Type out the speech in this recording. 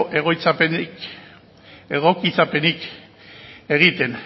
egokitzapenik egiten